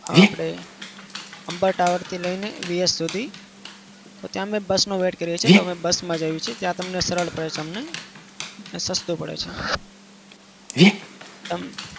આપડે tower થી લઈને સુધી. ત્યાં આગળ bus નો wait કરીએ છીએ. ત્યાંથી bus માં જઈએ છીએ. ત્યાં તમને સરળ પડે છે અમને. ને સસ્તું પડે છે. અમ